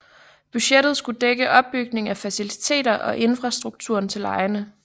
Budgettet skulle dække opbygning af faciliteter og infrastrukturen til legene